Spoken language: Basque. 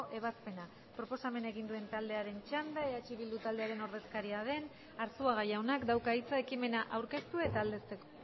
ebazpena proposamena egin duen taldearen txanda eh bildu taldearen ordezkaria den arzuaga jaunak dauka hitza ekimena aurkeztu eta aldezteko